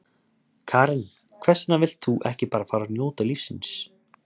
Karen: Hvers vegna vilt þú ekki bara fara að njóta lífsins?